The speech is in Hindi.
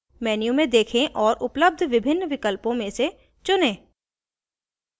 menu में देखें और उपलब्ध विभिन्न विकल्पों में से चुनें